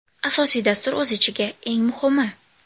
Asosiy dastur o‘z ichiga: Eng muhimi!